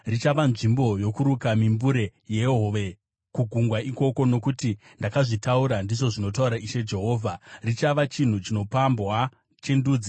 Richava nzvimbo yokuruka mimbure yehove kugungwa ikoko, nokuti ndakazvitaura, ndizvo zvinotaura Ishe Jehovha. Richava chinhu chinopambwa chendudzi,